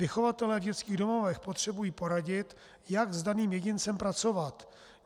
Vychovatelé v dětských domovech potřebují poradit, jak s daným jedincem pracovat.